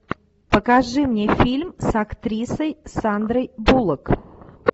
покажи мне фильм с актрисой сандрой буллок